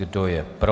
Kdo je pro?